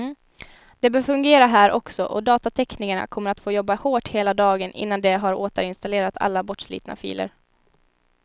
Det bör fungera här också, och datateknikerna kommer att få jobba hårt hela dagen innan de har återinstallerat alla bortslitna filer.